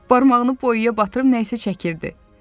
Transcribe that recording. Barmağını boyaya batırıb nəysə çəkirdi.